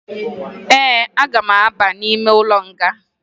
Ee, aga m aba n'ime ụlọ nga